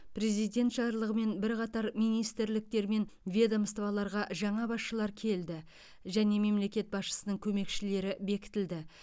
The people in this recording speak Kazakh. президент жарлығымен бірқатар министрліктер мен ведомстволарға жаңа басшылар келді және мемлекет басшысының көмекшілері бекітілді